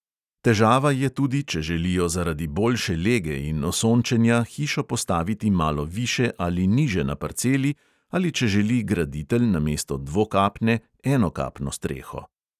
Težava je tudi, če želijo zaradi boljše lege in osončenja hišo postaviti malo više ali niže na parceli ali če želi graditelj namesto dvokapne enokapno streho.